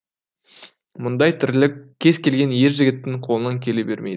мұндай тірлік кез келген ер жігіттің қолынан келе бермейді